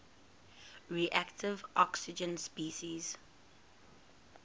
reactive oxygen species